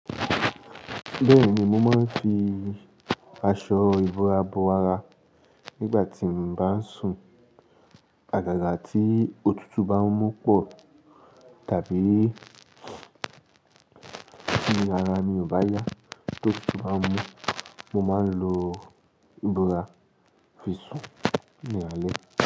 Bẹ́ẹ̀ni, mo máa ń fi aṣọ ìbora bo ara nígbà tí mo bá ń sùn. Àgàgà tí òtútù bá ń mú pọ̀ tàbí ti ara mi ò bá yá tó tí òtútù bá ń mú, mo máa ń lo ìbora fi sùn ní alẹ́